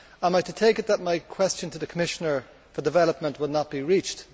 Am I to take it that my question to the Commissioner for Development will not be reached?